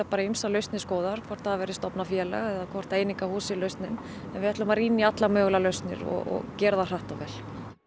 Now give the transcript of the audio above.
ýmsar lausnir skoðaðar hvort það verði stofnað félag eða hvort að einingahús sé lausnin en við ætlum að rýna í allar mögulegar lausnir og gera það hratt og vel